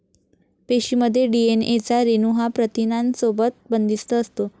पेशीमध्ये डीएनए चा रेणू हा प्रथिनांसोबत बंदिस्त असतो.